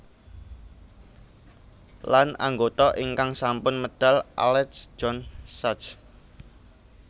Lan anggota ingkang sampun medal Alec John Such